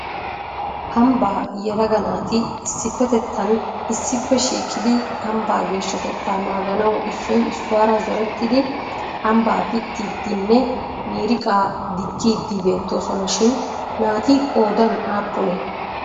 ambba yelaga naati issippetettan issippe shiiqidi ambbaa geeshshtettaa naaganaw issoy issuwaara zooretidi ambba pittidinne miiriqa digiidi beettoosona shin naati qoodan aappunnee?